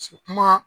kuma